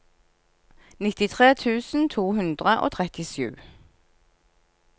nittitre tusen to hundre og trettisju